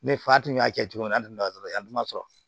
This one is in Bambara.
Ne fa tun y'a kɛ cogo min na an tɛ na dɔrɔn an dun ma sɔrɔ